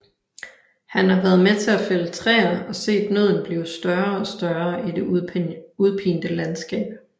Han har været med til at fælde træer og set nøden blive større og større i det udpinte landskab